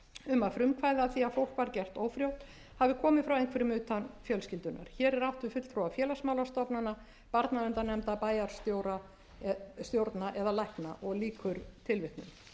um að frumkvæði að því að fólk var gert ófrjótt hafi komið frá einhverjum utan fjölskyldunnar hér er átt við fulltrúa félagsmálastofnana barnaverndarnefnda bæjarstjórna eða lækna á árinu